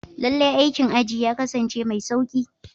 Lallai, aikin aji ya kasance mai sauƙi.